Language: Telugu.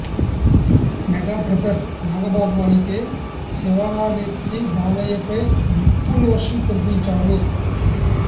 మెగా బ్రదర్ నాగబాబు అయితే శివాలెత్తి బాలయ్యపై నిప్పులు వర్షం కురిపించారు